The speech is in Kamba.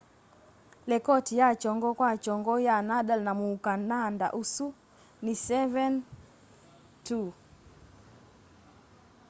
lekoti ya kyongo kwa kyongo ya nadal na muukananda usu ni 7-2